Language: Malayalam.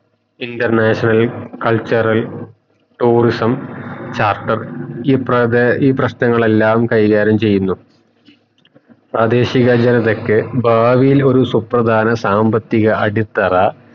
international cultural tourism charter ഇപ്രതെ ഈ പ്രശ്നങ്ങളെല്ലാം കൈകാര്യം ചെയുന്നു പ്രാദേശിക ജനത്തക് ഭാവിൽ ഒരു സാമ്പത്തിക അടിത്തറ